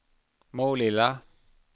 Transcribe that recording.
Målilla